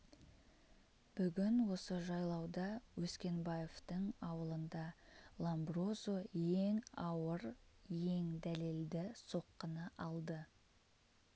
бүгін осы жайлауда өскенбаевтың ауылында ломброзо ең ауыр ең дәлелді соққыны алды